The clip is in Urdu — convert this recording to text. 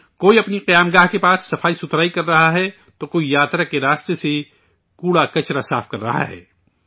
کوئی اپنے ٹھہرنے کی جگہ کے پاس صفائی کررہا ہے، تو کوئی یاترا کے راستے سے کوڑا کچرا صاف کررہا ہے